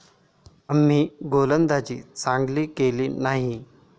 आम्ही गोलंदाजी चांगली केली नाही.